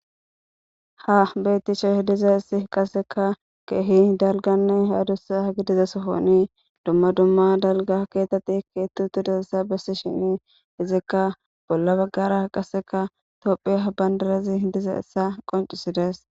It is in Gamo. ha bettishe h diza issi qaseka keehi dalganne haadussa ha gi diza sohoni dumma dumma dalga keetati keettu tudusessa bessi shini izikka bolla baggara qaseka tophi habbandarazi hi diza issa qoncisidees